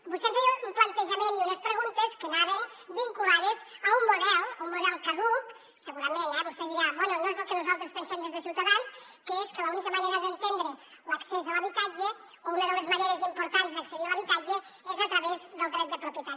vostè em feia un plantejament i unes preguntes que anaven vinculades a un model un model caduc segurament eh vostè dirà bé no és el que nosaltres pensem des de ciutadans que és que l’única manera d’entendre l’accés a l’habitatge o una de les maneres importants d’accedir a l’habitatge és a través del dret de propietat